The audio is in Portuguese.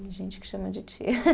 gente que chama de tia.